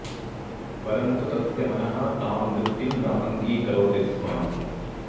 परन्तु तस्य मनः तां वृत्तिं न अङ्गीकरोति स्म